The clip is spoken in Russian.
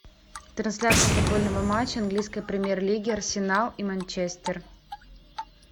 трансляция футбольного матча английской премьер лиги арсенал и манчестер